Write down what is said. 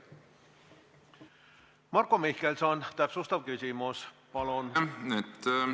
Marko Mihkelson, täpsustav küsimus, palun!